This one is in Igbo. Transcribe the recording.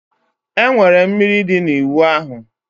Enwere mmiri dị na ịwụ ahụ